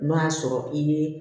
N'o y'a sɔrɔ i ye